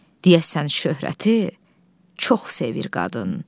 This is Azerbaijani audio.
Deyəsən şöhrəti çox sevir qadın.